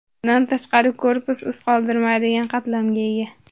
Bundan tashqari, korpus iz qoldirmaydigan qatlamga ega.